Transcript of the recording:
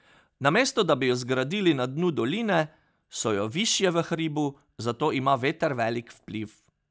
Namesto da bi jo zgradili na dnu doline, so jo višje v hribu, zato ima veter velik vpliv.